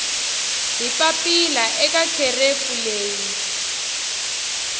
hi papila eka kherefu leyi